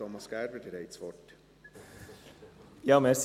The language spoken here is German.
Thomas Gerber, Sie haben das Wort.